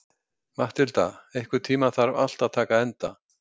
Mathilda, einhvern tímann þarf allt að taka enda.